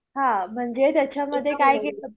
हा म्हणजे त्याच्यामध्ये काय केलं